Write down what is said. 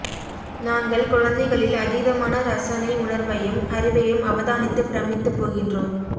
நாங்கள் குழந்தைகளில் அதீதமான இரசனை உணர்வையும் அறிவையும் அவதானித்துப் பிரமித்துப் போகின்றோம்